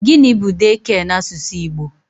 Gịnị bu 'daycare' n'asụsụ Igbo?